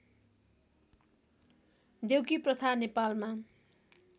देउकी प्रथा नेपालमा